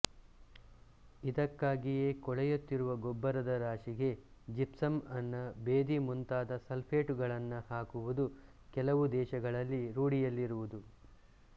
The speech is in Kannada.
ಇದಕ್ಕಾಗಿಯೇ ಕೊಳೆಯುತ್ತಿರುವ ಗೊಬ್ಬರದ ರಾಶಿಗೆ ಜಿಪ್ಸಂ ಅನ್ನ ಭೇದಿ ಮುಂತಾದ ಸಲ್ಫೇಟುಗಳನ್ನು ಹಾಕುವುದು ಕೆಲವು ದೇಶಗಳಲ್ಲಿ ರೂಢಿಯಲ್ಲಿರುವುದು